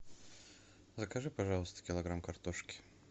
закажи пожалуйста килограмм картошки